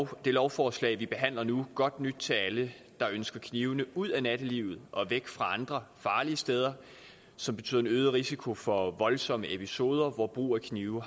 det lovforslag vi behandler nu godt nyt til alle der ønsker knivene ud af nattelivet og væk fra andre farlige steder som betyder en øget risiko for voldsomme episoder hvor brug af knive